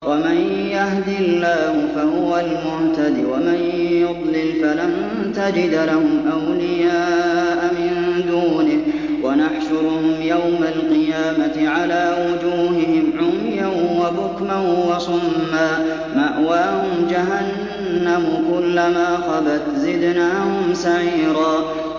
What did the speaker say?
وَمَن يَهْدِ اللَّهُ فَهُوَ الْمُهْتَدِ ۖ وَمَن يُضْلِلْ فَلَن تَجِدَ لَهُمْ أَوْلِيَاءَ مِن دُونِهِ ۖ وَنَحْشُرُهُمْ يَوْمَ الْقِيَامَةِ عَلَىٰ وُجُوهِهِمْ عُمْيًا وَبُكْمًا وَصُمًّا ۖ مَّأْوَاهُمْ جَهَنَّمُ ۖ كُلَّمَا خَبَتْ زِدْنَاهُمْ سَعِيرًا